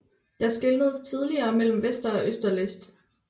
Der skelnedes tidligere mellem Vester og Øster List